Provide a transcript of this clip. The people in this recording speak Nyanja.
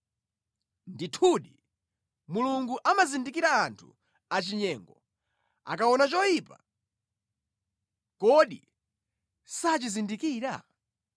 Ndithudi, Mulungu amazindikira anthu achinyengo; akaona choyipa, kodi sachizindikira?